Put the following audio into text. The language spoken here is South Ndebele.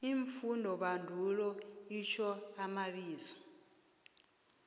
iimfundobandulo itjho amabizo